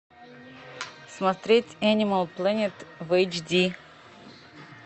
смотреть энимал плэнет в эйч ди